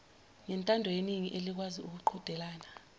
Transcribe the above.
ngentandoyeningi elikwazi ukuqhudelana